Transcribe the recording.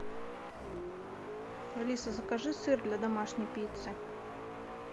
алиса закажи сыр для домашней пиццы